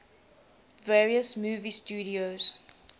various movie studios